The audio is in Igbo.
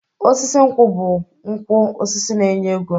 Osisi nkwụ bụ ukwu osisi na-enye ego.